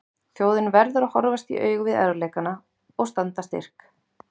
Þjóðin verði að horfast í augu við erfiðleikana og standa styrk.